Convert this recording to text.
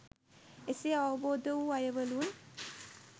එසේ අවබෝද වු අයවලුන්